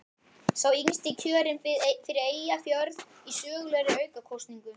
Sá yngsti kjörinn fyrir Eyjafjörð í sögulegri aukakosningu.